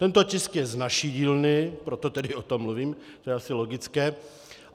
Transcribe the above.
Tento tisk je z naší dílny, proto tedy o tom mluvím, to je asi logické.